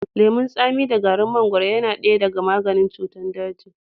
Lemun tsami da garin mangaro yana daya daga maganin cutar daji.